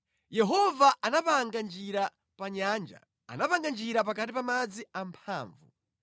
Yehova anapanga njira pa nyanja, anapanga njira pakati pa madzi amphamvu.